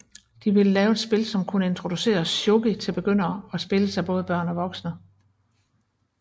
De ville lave et spil som kunne introducere shogi til begyndere og spilles af både børn og voksne